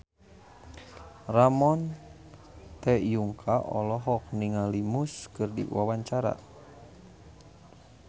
Ramon T. Yungka olohok ningali Muse keur diwawancara